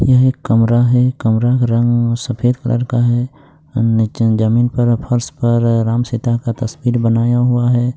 यह एक कमरा है कमरा का रंग सफेद कलर का है नीचे जमीन पर फ़र्श पर राम सीता का तस्वीर बनाया हुआ है।